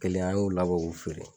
Kɛlen an y'o labɔ k'u feere